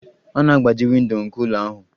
A na-agbaji windo nke ụlọ ahụ.